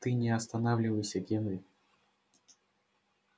ты не останавливайся генри